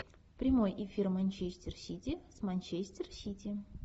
прямой эфир манчестер сити с манчестер сити